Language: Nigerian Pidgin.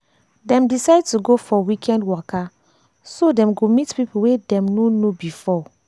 dem decide to go for weekend waka so dem go meet people wey dem no know before